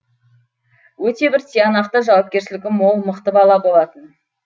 өте бір тиянақты жауапкершілігі мол мықты бала болатын